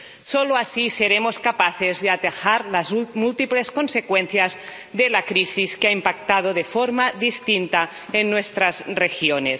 Solo así seremos capaces de atajar las múltiples consecuencias de la crisis, que ha impactado de forma distinta en nuestras regiones.